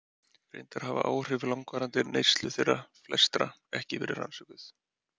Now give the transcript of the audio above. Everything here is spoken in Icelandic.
Reyndar hafa áhrif langvarandi neyslu þeirra flestra ekki verið rannsökuð.